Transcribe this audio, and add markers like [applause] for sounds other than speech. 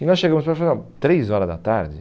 E nós chegamos, [unintelligible] três horas da tarde?